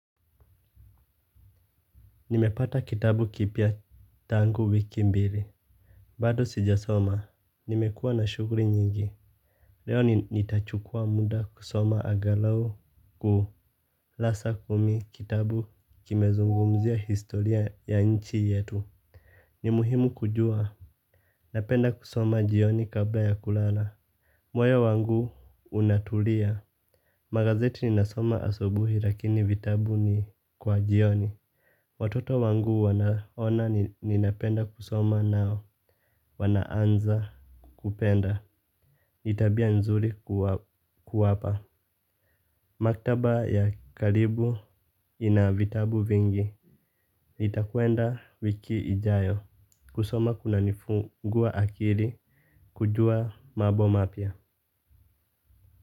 Nimepata kitabu kipya tangu wiki mbili. Bado sijasoma. Nimekuwa na shughuli nyingi. Leo nitachukua muda kusoma aghalau kurasa kumi kitabu kimezungumzia historia ya nchi yetu. Ni muhimu kujua. Napenda kusoma jioni kabla ya kulala. Moyo wangu unatulia. Magazeti ninasoma asubuhi lakini vitabu ni kwa jioni. Watoto wangu wanaona ninapenda kusoma nao. Wanaanza kupenda ni tabia nzuri kuwapa. Maktaba ya kalibu inavitabu vingi. Nitakwenda wiki ijayo. Kusoma kunanifungua akili. Kujua mambo mapya.